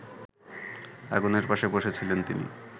আগুনের পাশে বসেছিলেন তিনি